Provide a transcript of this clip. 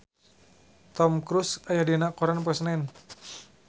Tom Cruise aya dina koran poe Senen